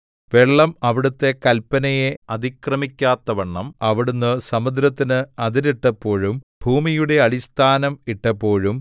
വെള്ളം അവിടുത്തെ കല്പനയെ അതിക്രമിക്കാത്തവണ്ണം അവിടുന്ന് സമുദ്രത്തിന് അതിരിട്ടപ്പോഴും ഭൂമിയുടെ അടിസ്ഥാനം ഇട്ടപ്പോഴും